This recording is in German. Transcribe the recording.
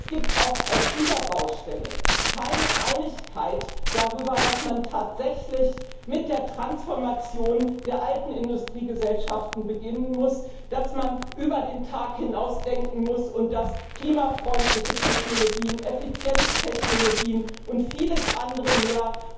Es gibt auch auf dieser Baustelle keine Einigkeit darüber, dass man tatsächlich mit der Transformation der alten Industriegesellschaften beginnen muss, dass man über den Tag hinaus denken muss und dass klimafreundliche Technologien, Effizienztechnologien und vieles andere mehr